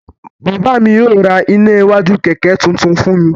Bàbá mi yóò ra iná iwájú kẹ̀kẹ́ tuntun fún mi.